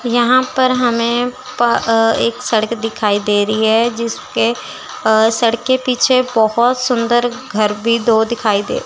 यहां पर हमें प अह एक सड़क दिखाई दे रही है जिसके अह सड़क के पीछे बहुत सुंदर घर भी दो दिखाई दे--